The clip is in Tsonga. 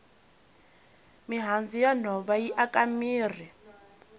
mihandzu ya nhova yi aka mirhi